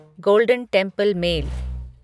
golden Temple mail